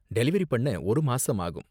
Delivery பண்ண ஒரு மாசம் ஆகும்.